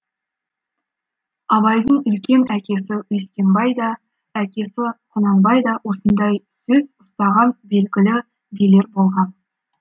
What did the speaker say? абайдың үлкен әкесі өскенбай да әкесі құнанбай да осындай сөз ұстаған белгілі билер болған